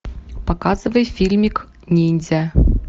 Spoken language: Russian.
показывай фильмик ниндзя